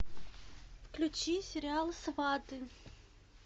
включи сериал сваты